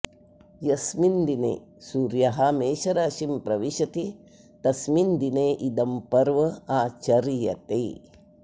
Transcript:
यस्मिन् दिने सूर्यः मेषराशिं प्रविशति तस्मिन् दिने इदं पर्व आचर्यते